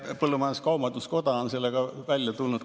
Põllumajandus-kaubanduskoda on sellega korduvalt välja tulnud.